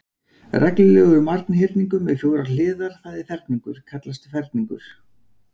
Reglulegur marghyrningur með fjórar hliðar, það er ferhyrningur, kallast ferningur.